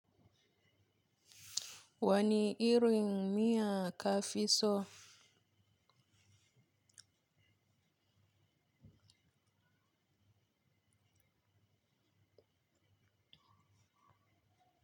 Wani irin miya kafi so?